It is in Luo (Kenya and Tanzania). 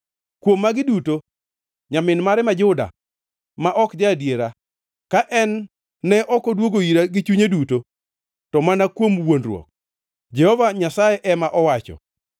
To kuom magi duto, nyamin mare ma Juda ma ok ja-adiera ka en ne ok odwogo ira gi chunye duto, to mana kuom wuondruok,” Jehova Nyasaye ema owacho.